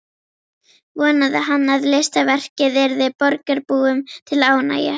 Vonaði hann að listaverkið yrði borgarbúum til ánægju.